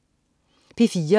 P4: